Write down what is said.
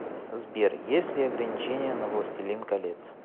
сбер есть ли ограничения на властелин колец